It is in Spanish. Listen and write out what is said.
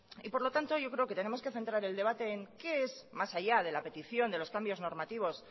por lo tanto yo creo que tenemos que centrar el debate en qué es más allá de la petición de los cambios normativos